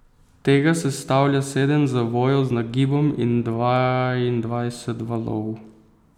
Tega sestavlja sedem zavojev z nagibom in dvaindvajset valov.